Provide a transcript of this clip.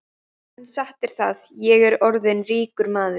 En satt er það, ég er orðinn ríkur maður.